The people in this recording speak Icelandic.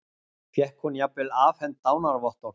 Fékk hún jafnvel afhent dánarvottorð